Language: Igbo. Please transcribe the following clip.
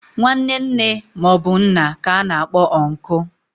Nwanne nne ma obu nna ka ana akpo unku